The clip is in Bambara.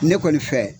Ne kɔni fɛ